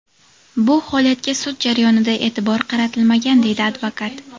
Bu holatga sud jarayonida e’tibor qaratilmagan”, deydi advokat.